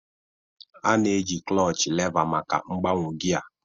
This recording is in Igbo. A na-eji kloochi leva maka mgbanwe gia.